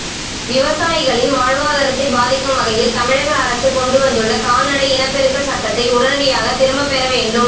விவசாயிகளின் வாழ்வாதாரத்தை பாதிக்கும் வகையில் தமிழக அரசு கொண்டுவந்துள்ள கால்நடை இனப்பெருக்க சட்டத்தை உடனடியாக திரும்பப் பெற வேண்டும்